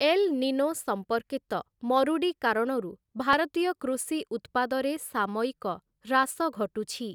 L Nino ସମ୍ପର୍କିତ ମରୁଡ଼ି କାରଣରୁ ଭାରତୀୟ କୃଷି ଉତ୍ପାଦରେ ସାମୟିକ ହ୍ରାସ ଘଟୁଛି ।